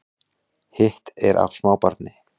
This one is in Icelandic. Hitt er af smábarni